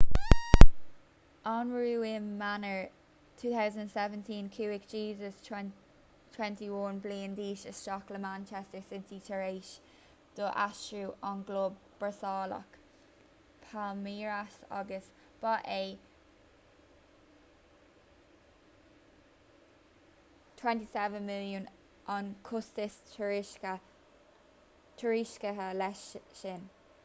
anuraidh i mí eanáir 2017 chuaigh jesus 21 bliain d'aois isteach le manchester city tar éis dó aistriú ón gclub brasaíleach palmeiras agus ba é £27 milliún an costas tuairiscithe leis sin